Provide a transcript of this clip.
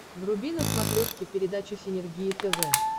вруби на смотрешке передачу синергия тв